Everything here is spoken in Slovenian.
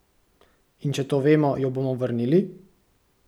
In če to vemo, jo bomo vrnili?